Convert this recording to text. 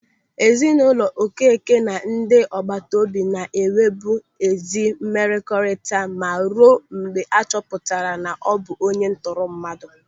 Ezinụlọ Okeke na ndị agbataobi na-enwebu ezi mmekọrịta ma ruo mgbe a chọpụtara na ọ bụ onye ntọrọmmadụ.